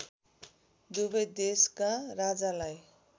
दुवै देशका राजालाई